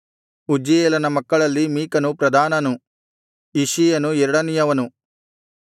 ಉಜ್ಜೀಯೇಲನ ಮಕ್ಕಳಲ್ಲಿ ಮೀಕನು ಪ್ರಧಾನನು ಇಷ್ಷೀಯನು ಎರಡನೆಯವನು